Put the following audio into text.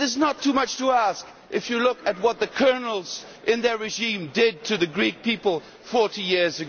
It is not too much to ask if you look at what the colonels and their regime did to the Greek people 40 years